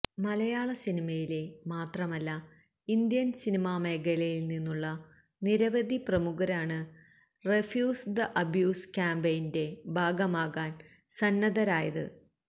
മലയാള സിനിമയിലെ മാത്രമല്ല ഇന്ത്യന് സിനിമാ മേഖലയില് നിന്നുള്ള നിരവധി പ്രമുഖരാണ് റെഫ്യൂസ് ദ അബ്യൂസ് ക്യാമ്പെയിന്റെ ഭാഗമാകാന് സന്നദ്ധരായത്